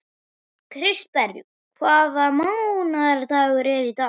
Kristberg, hvaða mánaðardagur er í dag?